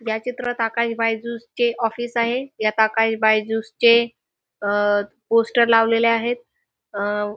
या चित्रात आकाश बायज्यूस चे ऑफिस आहे. यात आकाश बायज्यूस चे अह पोस्टर लावलेले आहेत. अह--